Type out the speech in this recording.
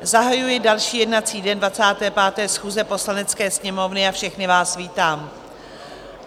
zahajuji další jednací den 25. schůze Poslanecké sněmovny a všechny vás vítám.